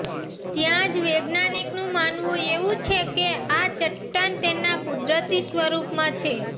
ત્યાંજ વૈજ્ઞાનિકનું માનવું એવું છે કે આ ચટ્ટાન તેના કુદરતી સ્વરૂપમાં છે